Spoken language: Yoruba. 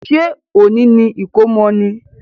Ṣé òní ni ìkómọ ni?